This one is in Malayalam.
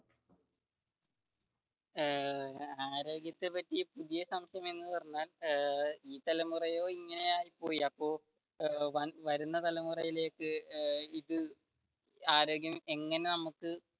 ഏർ ആരോഗ്യത്തെ പറ്റി പുതിയ സംശയം എന്ന് പറഞ്ഞാൽ ഈ തലമുറയെ ഇങ്ങനെ ആയി പോയി അപ്പൊ വരുന്ന തലമുറയിലേക്ക് എന്ത് ആരോഗ്യം എങ്ങനെ നമുക്ക്